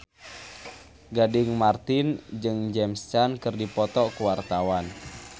Gading Marten jeung James Caan keur dipoto ku wartawan